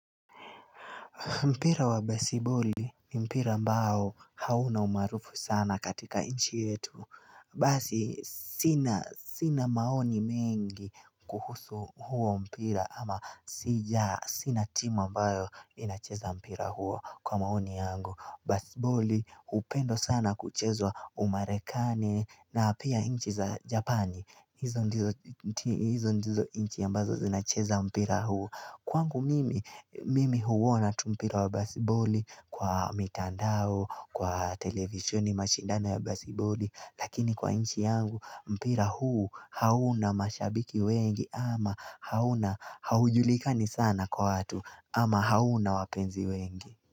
Mpira wa basiboli ni mpira ambao hauna umaarufu sana katika inchi yetu. Basi, sina maoni mengi kuhusu huo mpira ama sija sina timu ambao inacheza mpira huo kwa maoni yangu. Basiboli, hupendwa sana kuchezwa umarekani na pia inchi za japani, hizo ndizo inchi ambazo zinacheza mpira huo. Kwangu mimi, mimi huona tu mpira wa basiboli kwa mitandao, kwa televisheni mashindano wa basiboli. Lakini kwa inchi yangu, mpira huu hauna mashabiki wengi ama hauna haujulikani sana kwa watu ama hauna wapenzi wengi.